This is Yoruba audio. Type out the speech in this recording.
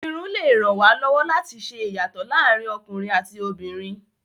Irun lè ràn wá lọ́wọ́ láti ṣe ìyàtọ̀ láàárín ọkùnrin àti obìnrin.